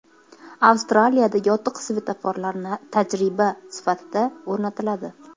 Avstraliyada yotiq svetoforlar tajriba sifatida o‘rnatiladi.